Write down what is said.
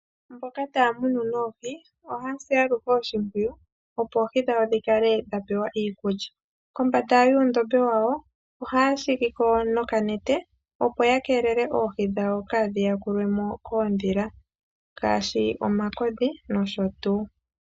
Mboka taya munu oohi ohaya si aluhe oshimpwiyu opo oohi dhawo dhikale dha pewa iikulya. Kombanda yuundombe wawo ohaya shigiko nokanete opo ya keelele oohi dhawo kaadhi yakulwemo koondhila ngaashi omakodhi nosho tuu.